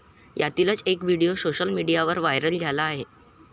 यातीलच एक video social मीडियावर viral झाला आहे.